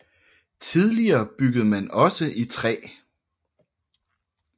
Tidligere byggede man også i træ